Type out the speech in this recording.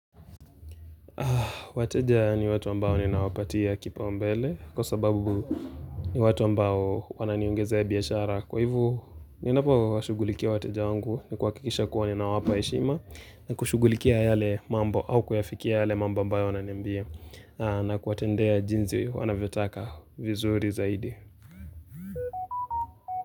Wateja ni watu ambao ninawapatia kipaumbele, kwa sababu ni watu ambao wananiongezea biashara. Kwa hivo, ninapowashugulikia wateja wangu, ni kuhakisha kuwa ninawapa heshima, na kushughulikia yale mambo, au kuyafikia yale mambo ambayo wananambia, na kuwatendea jinsi wanavyotaka vizuri zaidi.